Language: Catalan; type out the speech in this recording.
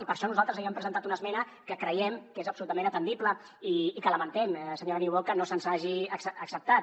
i per això nosaltres havíem presentat una esmena que creiem que és absolutament atendible i que lamentem senyora niubó que no se’ns hagi acceptat